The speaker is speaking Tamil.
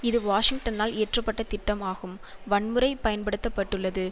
இது வாஷிங்டனால் இயற்ற பட்ட திட்டம் ஆகும் வன்முறை பயன்படுத்த பட்டுள்ளது